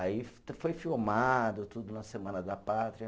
Aí foi filmado tudo na Semana da Pátria.